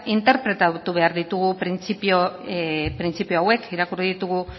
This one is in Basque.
interpretatu behar ditugu printzipio hauek irakurri ditugu